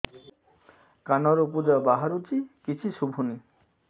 କାନରୁ ପୂଜ ବାହାରୁଛି କିଛି ଶୁଭୁନି